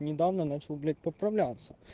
недавно начал блять поправляться